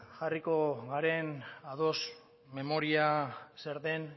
jarriko garen ados memoria zer den